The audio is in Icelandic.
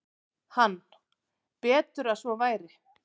Hann: Betur að svo væri.